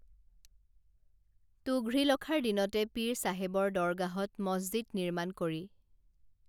তুঘ্ৰীলখাৰ দিনতে পীৰ চাহেবৰ দৰগাহত মছজিদ নিৰ্মাণ কৰি